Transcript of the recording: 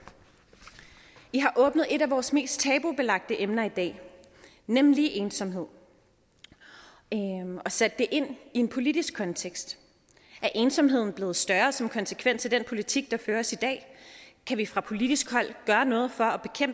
i har åbnet et af vores mest til tabubelagte emner i dag nemlig ensomhed og sat det ind i en politisk kontekst er ensomheden blevet større som en konsekvens af den politik der føres i dag kan vi fra politisk hold gøre noget for